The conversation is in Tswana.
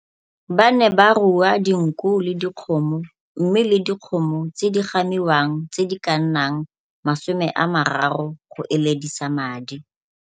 Ba ne ba rua dinku le dikgomo mme le dikgomo tse di gamiwang tse di ka nnang 30 go eledisa madi.